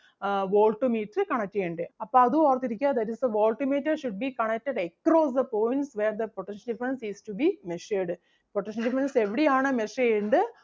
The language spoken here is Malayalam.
voltmeter connect ചെയ്യണ്ടേ. അപ്പം അതും ഓർത്തു ഇരിക്കുക that is the voltmeter should be connected across the points where the potential difference is to be measured. potential difference എവിടെയാണോ measure ചെയ്യണ്ടേ